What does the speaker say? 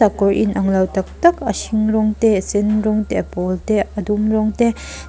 kawr inanglo tak tak a hring rawng te a sen rawng te a pawl te a dum rawng te.